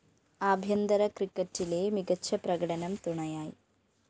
ആഭ്യന്തര ക്രിക്കറ്റിലെ മികച്ച പ്രകടനം തുണയായി